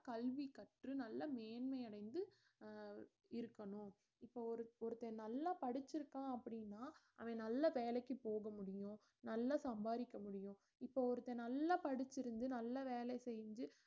கல்வி கற்று நல்ல மேன்மை அடைந்து அஹ் இருக்கணும் இப்போ ஒரு~ ஒருத்தன் நல்லா படிச்சிருக்கான் அப்படீன்னா அவன் நல்ல வேலைக்குப் போக முடியும் நல்லா சம்பாரிக்க முடியும் இப்போ ஒருத்தன் நல்லா படிச்சிருந்து நல்ல வேலை செஞ்சு